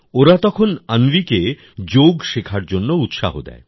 ওরা তখন অন্বিকে যোগ শেখার জন্য উৎসাহ দেয়